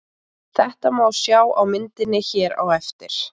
Þetta má sjá á myndinni hér á eftir.